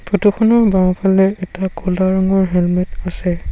Photo খনৰ বাওঁফালে এটা ক'লা ৰঙৰ হেলমেট আছে।